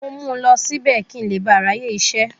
Mo mú lọ síbẹ̀, kí n le ba à ráyè isẹ́.